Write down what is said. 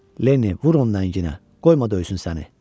Lenni, vur onu lənginə, qoyma döysün səni!